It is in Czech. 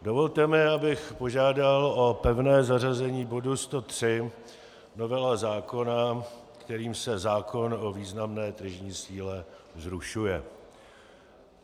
Dovolte mi, abych požádal o pevné zařazení bodu 103, novela zákona, kterým se zákon o významné tržní síle zrušuje.